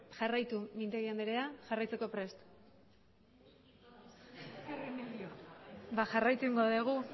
jarraitu mintegi andrea jarraitzeko prest ba jarraitu egingo dugu